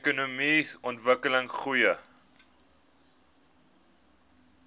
ekonomiese ontwikkeling goeie